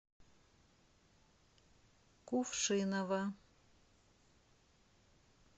кувшиново